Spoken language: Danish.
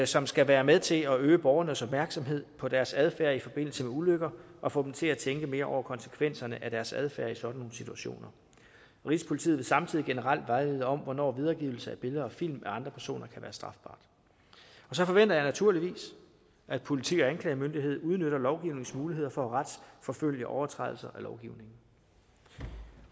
som skal være med til at øge borgernes opmærksomhed på deres adfærd i forbindelse med ulykker og få dem til at tænke mere over konsekvenserne af deres adfærd i sådan nogle situationer rigspolitiet vil samtidig generelt vejlede om hvornår videregivelse af billeder og film af andre personer kan være strafbart så forventer jeg naturligvis at politi og anklagemyndighed udnytter lovgivningens muligheder for at retsforfølge overtrædelser af lovgivningen